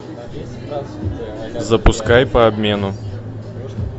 запускай по обмену